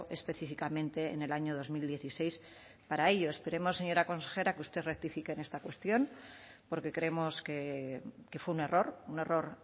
específicamente en el año dos mil dieciséis para ello esperemos señora consejera que usted rectifique en esta cuestión porque creemos que fue un error un error